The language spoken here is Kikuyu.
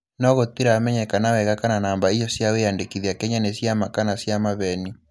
No gũtĩramenyekana wega kana namba icio cia wiandĩkithia Kenya nĩ ciama kana cia maveni.